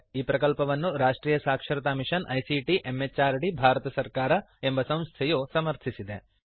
ಈ ಪ್ರಕಲ್ಪವನ್ನು ರಾಷ್ಟ್ರಿಯ ಸಾಕ್ಷರತಾ ಮಿಶನ್ ಐಸಿಟಿ ಎಂಎಚಆರ್ಡಿ ಭಾರತ ಸರ್ಕಾರ ಎಂಬ ಸಂಸ್ಥೆಯು ಸಮರ್ಥಿಸಿದೆ